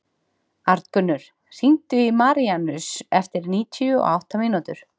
Arngunnur, hringdu í Maríanus eftir níutíu og átta mínútur.